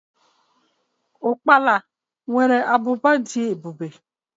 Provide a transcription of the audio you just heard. ukpala nwere ábụbà dị ebube.